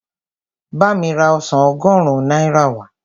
Bá mi ra ọsàn ọgọ́rùn-ún náírà wá.